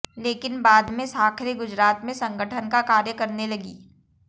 लेकिन बाद में साखरे गुजरात में संगठन का कार्य करने लगी